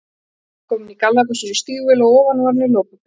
Amma var komin í gallabuxur og stígvél og að ofan var hún í lopapeysu.